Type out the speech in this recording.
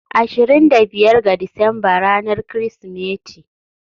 ashirin da biyar ga Disamba ranar Kirsimeti.